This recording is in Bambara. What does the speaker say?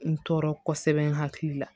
N tɔɔrɔ kosɛbɛ n hakili la